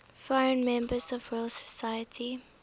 foreign members of the royal society